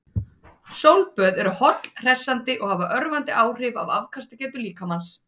Sólböð eru holl, hressandi og hafa örvandi áhrif á afkastagetu líkamans.